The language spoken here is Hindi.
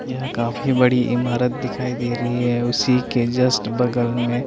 या काफी बड़ी इमारत दिखाई दे रही है उसी के जस्ट बगल में--